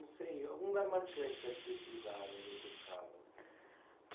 Não sei, algum lugar marcante dessa desse lugar onde você ficava?